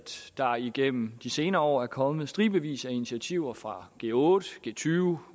der igennem de senere år er kommet i stribevis af initiativer fra g otte g tyve